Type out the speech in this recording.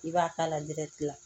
I b'a k'a la la